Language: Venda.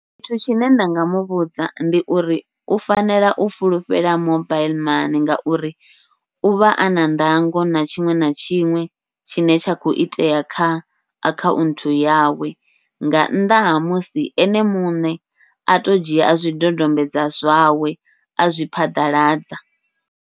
Tshithu tshine nda nga muvhudza ndi uri u fanela u fulufhela mobaiḽi mani, ngauri uvha ana ndango na tshiṅwe na tshiṅwe tshine tsha khou itea kha akhanthu, yawe nga nnḓa ha musi ene muṋe ato dzhia zwidodombedzwa zwawe azwi phaḓaladza.